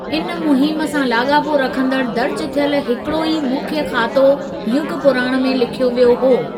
इन मुहिम सां लाॻापो रखंदड़ दर्ज थियल हिकड़ो ई मुख्य खातो युग पुराण में लिखियो वियो हो।